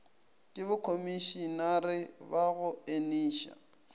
ke bokhomišenare ba go eniša